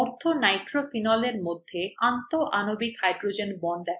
orthonitrophenolএর মধ্যে আন্তঃআণবিক hydrogen bond দেখা